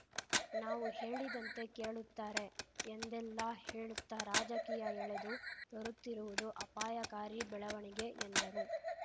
ನಾವು ಹೇಳಿದಂತೆ ಕೇಳುತ್ತಾರೆ ಎಂದೆಲ್ಲಾ ಹೇಳುತ್ತಾ ರಾಜಕೀಯ ಎಳೆದು ತರುತ್ತಿರುವುದು ಅಪಾಯಕಾರಿ ಬೆಳವಣಿಗೆ ಎಂದರು